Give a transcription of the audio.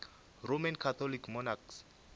roman catholic monarchs